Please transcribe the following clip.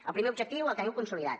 el primer objectiu el teniu consolidat